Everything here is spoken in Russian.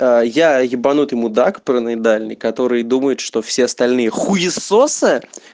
я ебанутый мудак параноидальный который думает что все остальные хуесосы